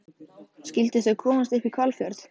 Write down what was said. Skyldu þau komast upp í Hvalfjörð?